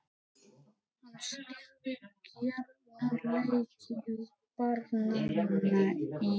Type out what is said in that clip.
Hann stýrði gjarnan leikjum barnanna í